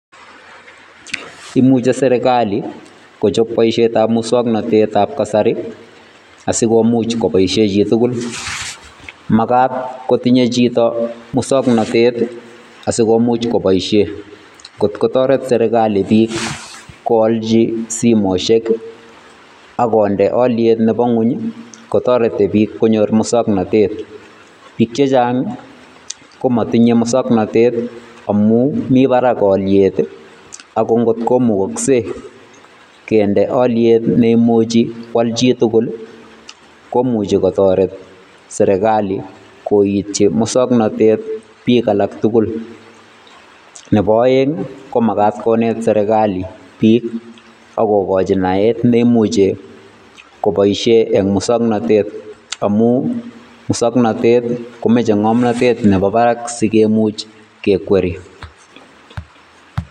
Imuche serikali kochop boisietab musoknotetab kasari, asi komuch koboisie chi tugul. Makat kotinye chito musoknotet ii, asi komuch koboisie, kot kotoret serikali piik koalchi simoshek ii, ak konde alyet nebo nguny ii, kotoreti piik konyor musoknotet. Piik che chang ii, komatinye musoknotet ii amu mi barak alyet ii, ako ngot komukokse kende alyet neimuchi kwal chi tugul ii, komuchi kotoret serikali koityi musoknotet piik alak tugul. Nebo aeng ii, ko makat konet serikali piik ak kokochi naet neimuche koboisie eng musoknotet amu musoknotet komeche ngomnotet nebo barak si kemuch kekweri.